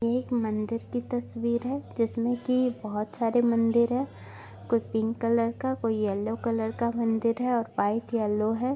ये एक मंदिर की तस्वीर है जिसमें की बहुत सारे मंदिर है कोई पिंक कलर का कोई येलो कलर का मंदिर है और व्हाइट येलो है।